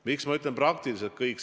Miks ma ütlen praktiliselt kõik?